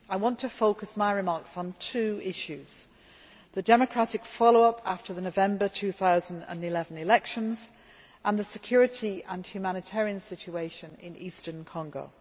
I want to focus my remarks on two issues the democratic follow up after the November 2011 elections and the security and humanitarian situation in eastern Congo.